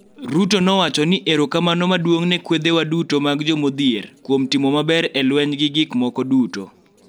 Ruto nowacho ni, erokamano maduong� ne kwedhewa duto mag jomodhier kuom timo maber e lweny gi gik moko duto.